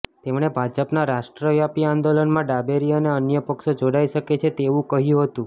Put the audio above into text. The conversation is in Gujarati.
તેમણે ભાજપના રાષ્ટ્રવ્યાપી આંદોલનમાં ડાબેરી અને અન્ય પક્ષો જોડાઈ શકે છે તેવું કહ્યું હતું